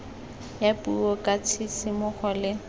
ya puo ka tshisimogo le